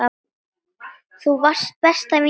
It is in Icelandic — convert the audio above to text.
Þú varst besta vinkona mín.